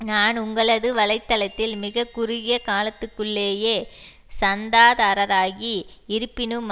நான் உங்களது வலை தளத்தில் மிக குறுகிய காலத்துக்குள்ளேயே சந்தாதாரராகி இருப்பினும்